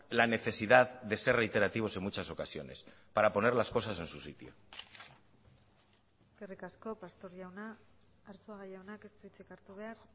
la necesidad de ser reiterativos en muchas ocasiones para poner las cosas en su sitio eskerrik asko pastor jauna arzuaga jaunak ez du hitzik hartu behar